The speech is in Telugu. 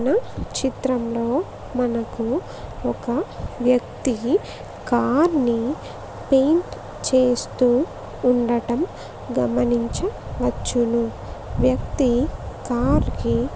పైన చిత్రంలో మనకు ఒక వ్యక్తి కార్ నీ పేయింట్ చేస్తూ ఉండటం గమనించవచ్చును. వ్యక్తి కార్ కి.